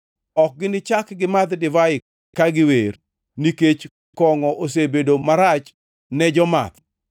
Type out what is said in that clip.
Ok ginichak gimadh divai ka giwer, nikech kongʼo osebedo marach ne jomath.